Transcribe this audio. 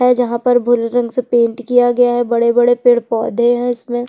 यहाँ पर भोरे रंग से पेंट किया गया है बड़े बड़े पेड़ पौधे है इसमें--